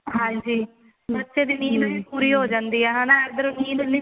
ਹਾਂਜੀ ਬੱਚੇ ਦੀ ਨੀਂਦ ਪੂਰੀ ਹੋ ਜਾਂਦੀ ਹਨਾ ਇੱਧਰ ਨੀਂਦ ਨਹੀਂ